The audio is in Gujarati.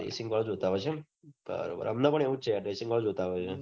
dressing વાળું બતાવે છે એમ અમને પન એવું છે dressing વાળું બતાવે છે